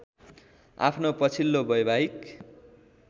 आफ्नो पछिल्लो वैवाहिक